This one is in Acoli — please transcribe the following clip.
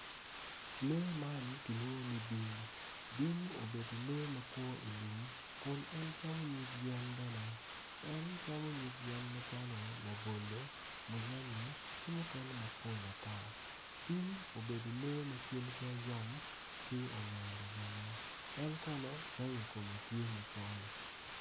Lee man kilwongo ni bim man obuto piny kun puc man kala kome tye macol nicuc kun opero ite tye ka winyo jami. Puc man bene tye ka neno. en kono rangi kome tye macol.